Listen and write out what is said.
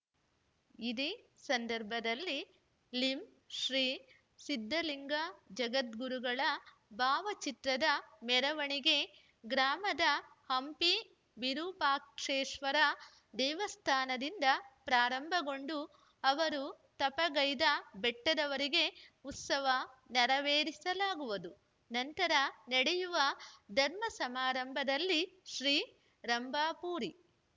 ಇದೇ ಸಂದರ್ಭದಲ್ಲಿ ಲಿಂಶ್ರೀ ಸಿದ್ಧಲಿಂಗ ಜಗದ್ಗುರುಗಳ ಭಾವಚಿತ್ರದ ಮೆರವಣಿಗೆ ಗ್ರಾಮದ ಹಂಪಿ ವಿರೂಪಾಕ್ಷೇಶ್ವರ ದೇವಸ್ಥಾನದಿಂದ ಪ್ರಾರಂಭಗೊಂಡು ಅವರು ತಪಗೈದ ಬೆಟ್ಟದವರೆಗೆ ಉತ್ಸವ ನೆರವೇರಿಸಲಾಗುವುದು ನಂತರ ನಡೆಯುವ ಧರ್ಮ ಸಮಾರಂಭದಲ್ಲಿ ಶ್ರೀ ರಂಭಾಪುರಿ